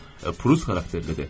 Prus xarakterlidir.